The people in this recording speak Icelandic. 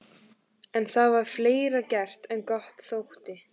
En það var fleira gert en gott þótti.